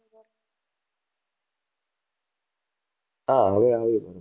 હા હવે આવે છે ઘણો.